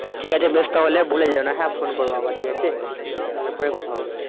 ঠিক আছে বেশ তাহলে হ্যাঁ ভুলে যেওনা ফোন করবো আবার ঠিক আছে বেশ তাহলে পরে কথা হবে